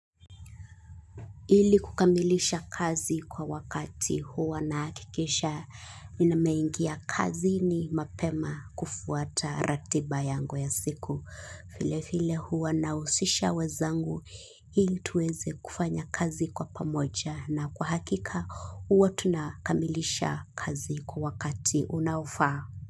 Ili kukamilisha kazi kwa wakati huwa nahakikisha nimeingia kazini mapema kufuata ratiba yangu ya siku. Vile vile huwa nahusisha wenzangu ili tuweze kufanya kazi kwa pamoja na kwa hakika huwa tunakamilisha kazi kwa wakati unaofaa.